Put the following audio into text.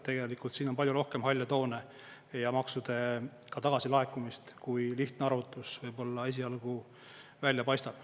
Tegelikult siin on palju rohkem halle toone ja maksude tagasi laekumist, kui lihtne arvutus võib-olla esialgu välja paistab.